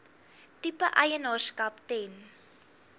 tipe eienaarskap ten